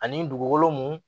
Ani dugugolo mun